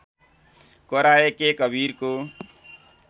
कराए के कवीरको